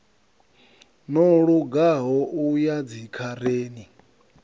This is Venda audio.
no lugaho u ya dzikhareni